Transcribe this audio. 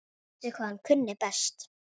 Vissi hvað hann kunni best.